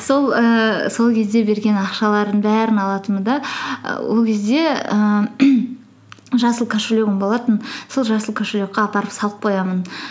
ііі сол кезде берген ақшаларының алатынмын да і ол кезде ііі жасыл кошелегім болатын сол жасыл кошелекке апарып салып қоямын